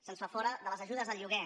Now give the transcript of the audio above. se’ns fa fora de les ajudes al lloguer